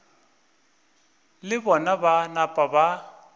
le bona ba napa ba